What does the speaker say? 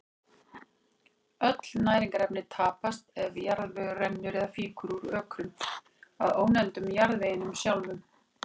Öll næringarefni tapast ef jarðvegur rennur eða fýkur úr ökrum, að ónefndum jarðveginum sjálfum.